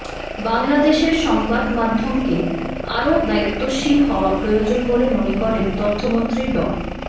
বাংলাদেশের সংবাদমাধ্যমকে আরও দায়িত্বশীল হওয়া প্রয়োজন বলে মনে করেন তথ্যমন্ত্রী ড